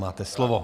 Máte slovo.